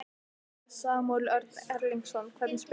Samúel Örn Erlingsson, hvernig spyrðu?